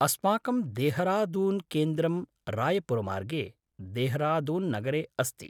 अस्माकं देहरादून्केन्द्रं रायपुरमार्गे, देहरादून्नगरे अस्ति।